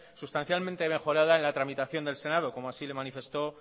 sustancialmente mejorada en la tramitación del senado como así lo manifestó